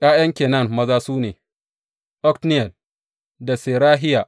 ’Ya’yan Kenaz maza su ne, Otniyel da Serahiya.